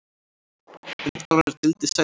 Umtalaðri deild sagði hann.